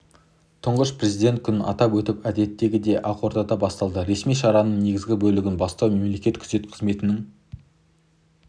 тұңғыш президент күнін атап өту әдеттегідей ақордадан басталды ресми шараның негізгі бөлігін бастау мемлекеттік күзет қызметінің